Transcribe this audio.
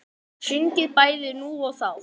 Sungin bæði nú og þá.